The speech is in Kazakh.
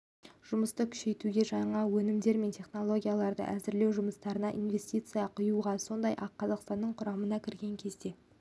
жұмысты күшейтуге жаңа өнімдер мен технологияларды әзірлеу жұмыстарына инвестиция құюға сондай-ақ қазақстанның құрамына кірген кезде